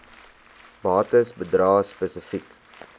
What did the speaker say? bates bedrae spesifiek